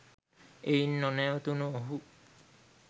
එයින් නොනැවතුනු ඔහු